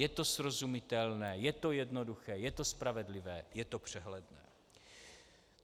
Je to srozumitelné, je to jednoduché, je to spravedlivé, je to přehledné.